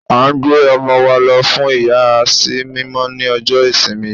À ń gbé ọmọ wa lọ fún ìyà sí mímọ́ ní ọjọ́ ìsinmi yìí.